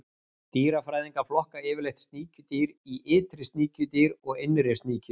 Dýrafræðingar flokka yfirleitt sníkjudýr í ytri sníkjudýr og innri sníkjudýr.